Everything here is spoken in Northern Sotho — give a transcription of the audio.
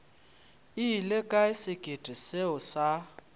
ile kae sekete seo sa